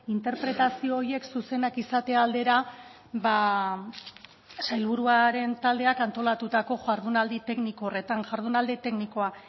interpretazio horiek zuzenak izate aldera ba sailburuaren taldeak antolatutako jardunaldi tekniko horretan jardunaldi teknikoa